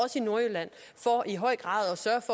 også i nordjylland for i høj grad